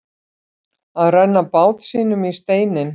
Að renna bát sínum í steininn